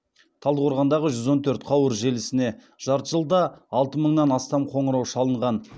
талдықорғандағы жүз он төрт қауырт желісіне жарты жылда алты мыңнан астам қоңырау шалынған